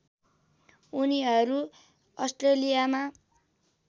उनीहरू अस्ट्रेलियामा